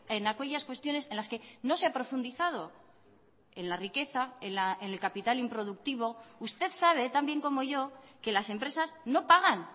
en aquellas cuestiones en las que no se ha profundizado en la riqueza en el capital improductivo usted sabe también como yo que las empresas no pagan